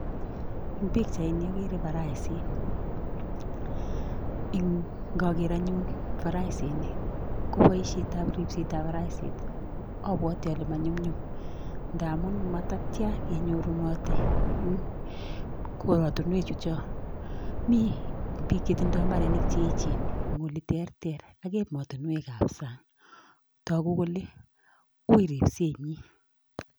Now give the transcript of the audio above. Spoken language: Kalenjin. En puchaini agere paraisit, indoker anyun parasiini koboishietab ripsetab paraisinik abwote ale manyumnyum. Ngamun matatian kenyorunot en korotinwek chuchok mi bik chemotinye mbarenik cheechen en oleterter ak emetinwek ab sang. Toguu kole woo ripsenyiin